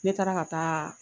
Ne taara ka taa